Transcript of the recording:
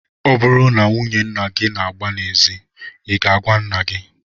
Ọ bụrụ na nwunye nna gị gbaa n'ezi, I ga-agwa nna gị?